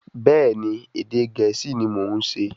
Bẹ́ẹ̀ni, Ẹ̀dẹ̀ Gẹ̀ẹ́sì ni mọ̀ ún ṣe